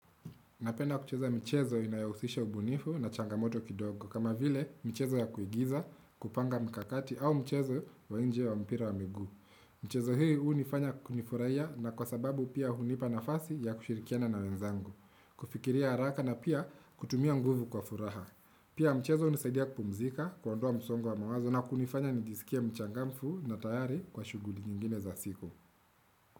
Napenda kucheza michezo inayohusisha ubunifu na changamoto kidogo kama vile michezo ya kuigiza kupanga mkakati au mchezo wa nje wa mpira wa miguu. Michezo hii hunifanya nifurahia na kwa sababu pia hunipa nafasi ya kushirikiana na wenzangu, kufikiria haraka na pia kutumia nguvu kwa furaha. Pia mchezo hunisaidia kupumzika kuondoa msongo wa mawazo na kunifanya nijisikie mchangamfu na tayari kwa shughuli nyingine za siku.